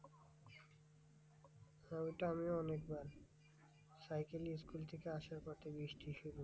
হ্যাঁ ওইটা আমিও অনেকবার সাইকেল নিয়ে school থেকে আসার পথে বৃষ্টি শুরু।